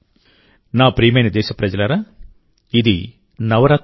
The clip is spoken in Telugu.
నా ప్రియమైన దేశప్రజలారాఇది నవరాత్రుల సమయం